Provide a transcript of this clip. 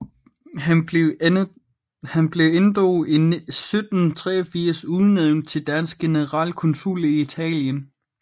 Han blev endog i 1783 udnævnt til dansk generalkonsul i Italien